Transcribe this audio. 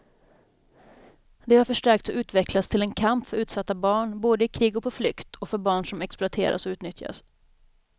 Det har förstärkts och utvecklats till en kamp för utsatta barn både i krig och på flykt och för barn som exploateras och utnyttjas.